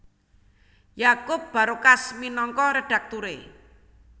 Yakup Barokas minangka redakturé